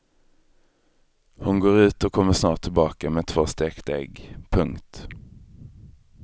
Hon går ut och kommer snart tillbaka med två stekta ägg. punkt